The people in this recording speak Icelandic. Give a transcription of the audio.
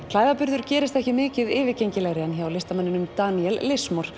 klæðaburður gerist ekki mikið yfirgengilegri en hjá listamanninum Daniel